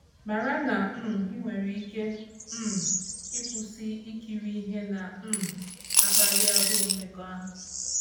Mara na i um nwere ike um ịkwụsị ikiri ihe na um - akpali agụụ mmekọahụ.